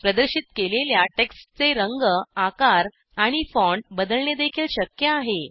प्रदर्शित केलेल्या टेक्स्टचे रंग आकार आणि फॉन्ट बदलणेदेखील शक्य आहे